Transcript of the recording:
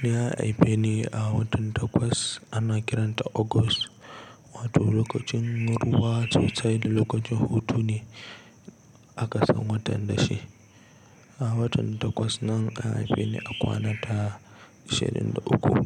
Ni an haife ni a watan Takwas, ana kiranta August. Wato lokacin ruwa zai tsai da lokacin hutu ne a ƙasan watan da shi. A watan Takwas nan an haife ni a kwana ta ishirin da uku.